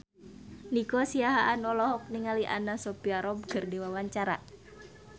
Nico Siahaan olohok ningali Anna Sophia Robb keur diwawancara